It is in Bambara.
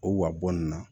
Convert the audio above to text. O wa bɔ nin na